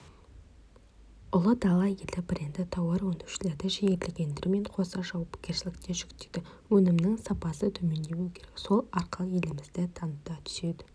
ұлы дала елі бренді тауарөндірушілерді жігерлендіргенімен қоса жауапкершілік те жүктейді өнімінің сапасы төмендемеуі керек сол арқылы елімізді таныта түседі